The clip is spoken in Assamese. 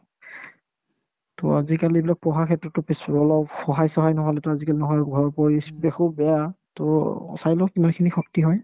to আজিকালি এইবিলাক পঢ়া ক্ষেত্ৰতো কিছু অলপ সহায়-চহায় নহ'লেতো আজিকালি নহয় ঘৰৰ পৰিস্থিতি খুব বেয়া to চাই লও কিমানখিনি শক্তি হয়